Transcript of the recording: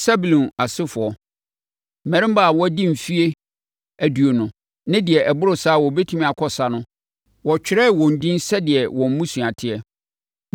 Sebulon asefoɔ: Mmarima a wɔadi mfeɛ aduonu ne deɛ ɛboro saa a wɔbɛtumi akɔ ɔsa no, wɔtwerɛɛ wɔn edin sɛdeɛ wɔn mmusua teɛ.